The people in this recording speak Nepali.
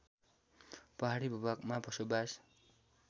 पहाडी भूभागमा बसोबास